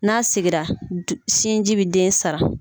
N'a segira sinji bɛ den saran.